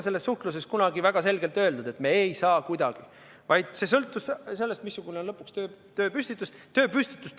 Selles suhtluses ei olnud kunagi väga selgelt öeldud, et me ei saa kuidagi seda teha, vaid see sõltus sellest, missugune on lõpuks tööülesande püstitus.